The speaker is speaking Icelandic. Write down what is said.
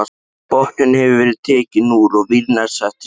Botninn hefur verið tekinn úr og vírnet sett í staðinn.